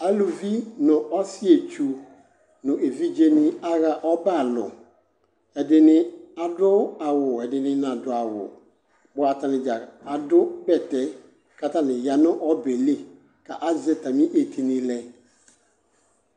Eluvi nʋ ɔsɩetsu nʋ evidzenɩ aɣa ɔbɛalʋ Ɛdɩnɩ adʋ awʋ ɛdɩnɩ nadʋ awʋ , bʋa atanɩdza adʋ bɛtɛ k'atanɩ ya nʋ ɔbɛɛ li, ka azɛ atamɩ etini lɛ